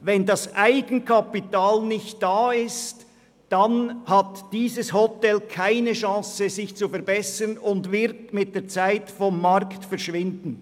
Ist das Eigenkapital nicht vorhanden, hat dieses Hotel keine Chance, sich zu verbessern und wird mit der Zeit vom Markt verschwinden.